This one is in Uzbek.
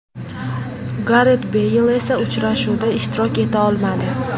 Garet Beyl esa uchrashuvda ishtirok eta olmadi.